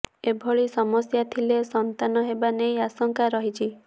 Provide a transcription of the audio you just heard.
ଏଭଳି ସମସ୍ୟା ଥିଲେ ସନ୍ତାନ ହେବା ନେଇ ଆଶଙ୍କା ରହିଛି